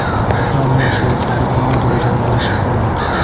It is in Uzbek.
va uning sheriklari bilan o‘zaro janjallashib qolgan.